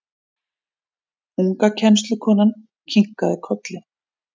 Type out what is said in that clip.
Unga kennslukonan kinkaði kolli.